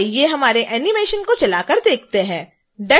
आइए हमारे एनीमेशन को चलाकर देखते हैं